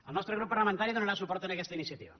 el nostre grup parlamentari donarà suport a aquesta iniciativa